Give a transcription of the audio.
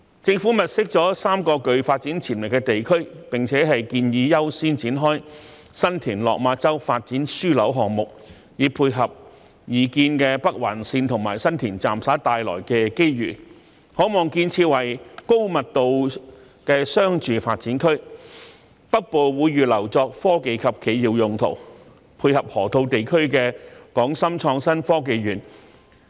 政府物色了3個具發展潛力的地區，並且建議優先展開新田/落馬洲發展樞紐項目，以配合擬建的北環綫和新田站所帶來的機遇，可望建設為高密度的商住發展區，北部則會預留作科技及企業用途，配合河套地區的港深創新及科技園。